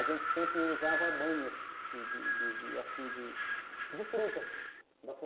A gente sempre usava banhas de de de de assim de frutas